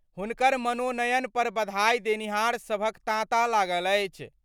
हुनकर मनोनयन पर बधाई देनिहार सभक तांता लागल अछि।